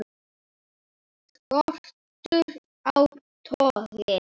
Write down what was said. Skortur á togi